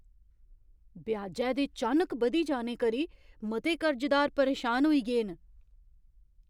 ब्याजै दे चानक बधी जाने करी मते कर्जदार परेशान होई गे न ।